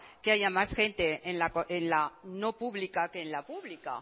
que haya más gente en la no pública que en la pública